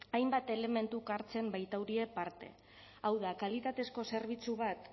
hainbat elementuk hartzen baitaurie parte hau da kalitatezko zerbitzu bat